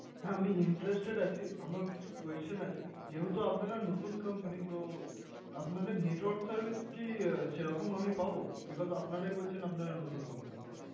হ্যাঁ আমি intersted আছি। আমার কিছু question আছে। যেহেতু আপনারা নতুন company তো আপনাদের network service কি আহ সেরকম আমি পাব? Because আপনারাই বলছেন আপনারা নতুন company ।